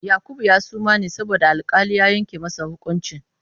Yakubu ya suma ne bayan da alƙali ya yanke masa hukunci.